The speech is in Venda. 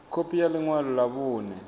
khophi ya ḽi ṅwalo ḽa vhuṋe